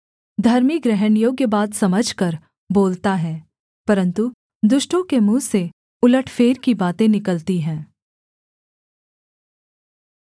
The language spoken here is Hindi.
धर्मी ग्रहणयोग्य बात समझकर बोलता है परन्तु दुष्टों के मुँह से उलटफेर की बातें निकलती हैं